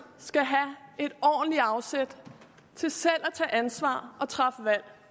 skal have et ordentligt afsæt til selv at tage ansvar og træffe valg